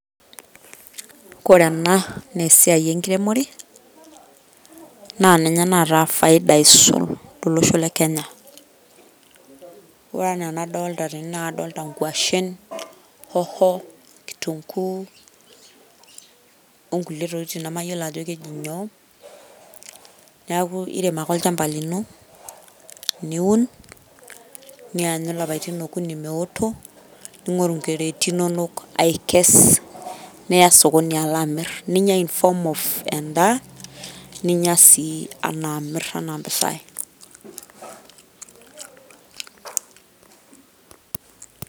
Ore ena naa esiai enkremore naa ninye naata faida aisul tolosho lekenya , ore enaa enadolta tene naa kadolta nkwashen ,hoho, kituguu onkulie tokitin nemayiolo ajo keji nyoo .Niaku irem ake olchamba lino, niun , nianyu ilapaitin okuni meoto , ningoru crati inono aikes , niya sokoni ala amir , ninya inform of endaa ,ninya sii enaaamir enaampisai .